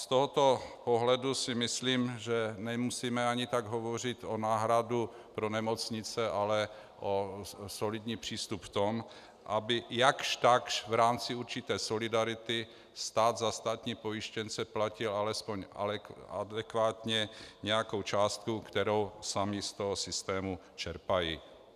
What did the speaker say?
Z tohoto pohledu si myslím, že nemusíme ani tak hovořit o náhradě pro nemocnice, ale o solidním přístupu v tom, aby jakž takž v rámci určité solidarity stát za státní pojištěnce platil alespoň adekvátně nějakou částku, kterou sami z toho systému čerpají.